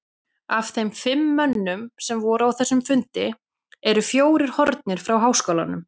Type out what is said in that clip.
Af þeim fimm mönnum, sem voru á þessum fundi, eru fjórir horfnir frá háskólanum.